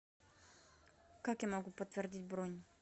как я могу подтвердить бронь